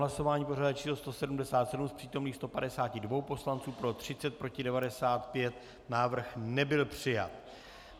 Hlasování pořadové číslo 177, z přítomných 152 poslanců pro 30, proti 95, návrh nebyl přijat.